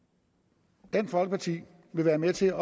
er en folkeparti vil være med til